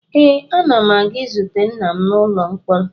Ee, ana m aga izute nna m n'ụlọ mkpọrọ